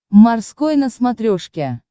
морской на смотрешке